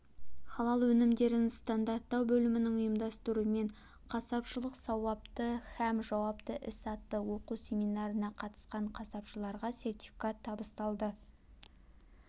халал өнімдерін стандарттау бөлімінің ұйымдастыруымен қасапшылық сауапты һәм жауапты іс атты оқу-семинарына қатысқан қасапшыларға сертификат табысталды